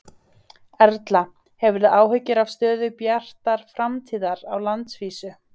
Erla: Hefurðu áhyggjur af stöðu Bjartar framtíðar á landsvísu?